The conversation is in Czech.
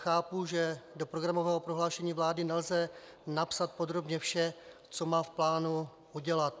Chápu, že do programového prohlášení vlády nelze napsat podrobně vše, co má v plánu udělat.